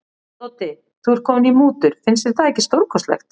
Doddi, þú ert kominn í mútur, finnst þér það ekki stórkostlegt.